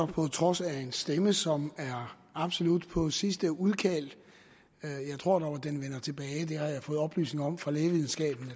på trods af en stemme som er absolut på sidste udkald jeg tror dog at den vender tilbage det har jeg fået oplysninger om fra lægevidenskaben